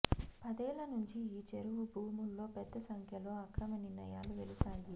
పదేళ్ల నుంచి ఈ చెరువు భూముల్లో పెద్ద సంఖ్యలో అక్రమనిర్మాణాలు వెలిసాయి